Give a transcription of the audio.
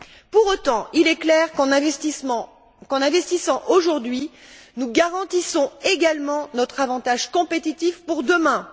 Pour autant, il est clair qu'en investissant aujourd'hui, nous garantissons également notre avantage compétitif pour demain.